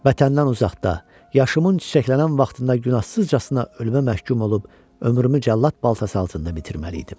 Vətəndən uzaqda, yaşımın çiçəklənən vaxtında günahsızcasına ölümə məhkum olub ömrümü cəllad baltası altında bitirməliydim.